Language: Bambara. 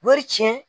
Wari tiɲɛ